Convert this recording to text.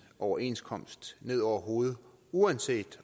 overenskomst ned over hovedet uanset